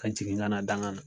Ka jigin kana dangan na